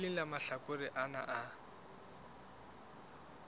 leng la mahlakore ana a